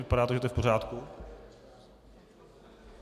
Vypadá to, že je to v pořádku.